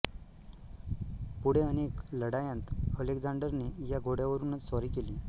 पुढे अनेक लढायांत अलेक्झांडरने या घोड्यावरूनच स्वारी केली